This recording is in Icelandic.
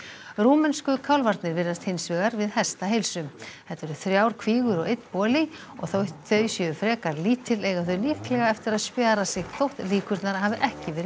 rúmensku kálfarnir virðast hins vegar við hestaheilsu þetta eru þrjár kvígur og einn boli og þótt þau séu frekar lítil eiga þau líklega eftir að spjara sig þótt líkurnar hafi ekki verið